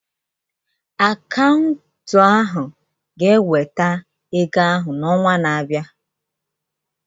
Akaụntụ ahu ga-eweta ego ahụ n'ọnwa na-abịa.